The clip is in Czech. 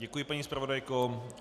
Děkuji, paní zpravodajko.